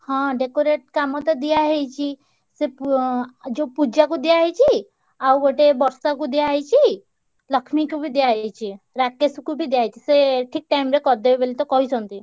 ହଁ decorate କାମ ତ ଦିଆ ହେଇଛି ସେ ~ପୁ ଅଁ ଯୋଉ ପୂଜାକୁ ଦିଆହେଇଛି। ଆଉ ଗୋଟେ ବର୍ଷାକୁ ଦିଆହେଇଛି। ଲକ୍ଷ୍ମୀକୁ ବି ଦିଆହେଇଛି। ରାକେଶକୁ ବି ଦିଆହେଇଛି। ସେ ଠିକ୍ time ରେ କରିଦେବେ ବୋଲିତ କହିଛନ୍ତି।